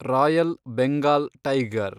royal Bengal tiger